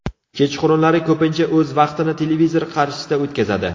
Kechqurunlari ko‘pincha o‘z vaqtini televizor qarshisida o‘tkazadi.